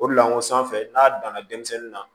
O de la o sanfɛ n'a danna denmisɛnnin na